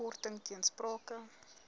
korting ter sprake